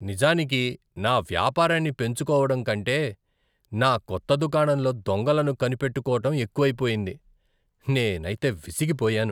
నిజానికి నా వ్యాపారాన్ని పెంచుకోవడం కంటే నా కొత్త దుకాణంలో దొంగలను కనిపెట్టుకోటం ఎక్కువైపోయింది. నేనైతే విసిగిపోయాను.